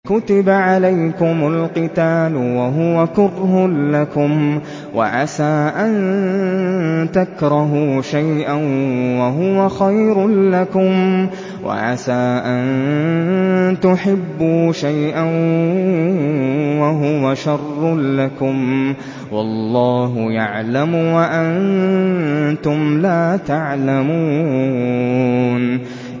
كُتِبَ عَلَيْكُمُ الْقِتَالُ وَهُوَ كُرْهٌ لَّكُمْ ۖ وَعَسَىٰ أَن تَكْرَهُوا شَيْئًا وَهُوَ خَيْرٌ لَّكُمْ ۖ وَعَسَىٰ أَن تُحِبُّوا شَيْئًا وَهُوَ شَرٌّ لَّكُمْ ۗ وَاللَّهُ يَعْلَمُ وَأَنتُمْ لَا تَعْلَمُونَ